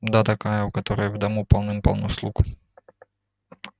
да такая у которой в дому полным-полно слуг